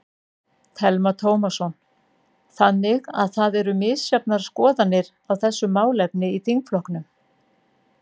Telma Tómasson: Þannig að það eru misjafnar skoðanir á þessu málefni í þingflokknum?